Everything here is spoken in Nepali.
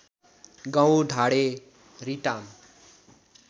गाउँ ढाँडे रिटाम